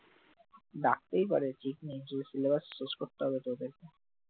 ডাকতেই পারে, ঠিক নেই যে syllabus শেষ করতে হবেতো ওদেরকে